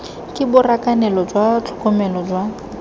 ke borakanelo jwa tlhokomelo jwa